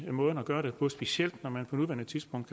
er måden at gøre det på specielt når man på nuværende tidspunkt